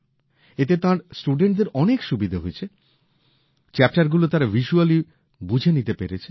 এতে তাঁর ছাত্রছাত্রীদের অনেক সুবিধে হয়েছে অধ্যায়গুলো তারা ভিস্যুয়ালি বুঝে নিতে পেরেছে